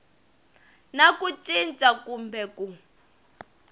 na ku cinca kumbe ku